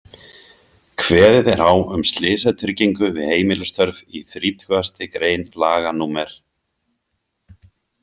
Kveðið er á um slysatryggingu við heimilisstörf í þrítugasti grein laga númer